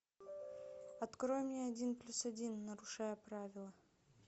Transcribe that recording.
открой мне один плюс один нарушая правила